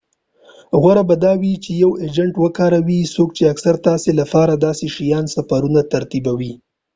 غوره به دا وي چی یو اجنټ وکاروئ څوک چی اکثراً تاسي لپاره داسی شان سفرونه ترتیبوي